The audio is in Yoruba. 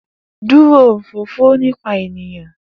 Duro olofofo nipa eniyan!